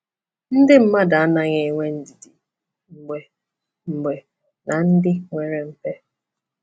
Ndị mmadụ anaghị enwe ndidi mgbe mgbe na ndị nwere mpe.